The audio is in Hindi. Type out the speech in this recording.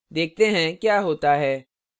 देखते हैं क्या होता है